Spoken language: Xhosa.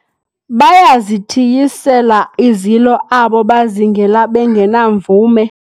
bayazithiyisela izilo abo bazingela bengenamvume